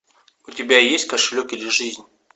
у тебя есть кошелек или жизнь